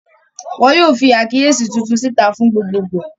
Wọn yóò fi àkíyèsí tuntun síta fún gbogbogbò.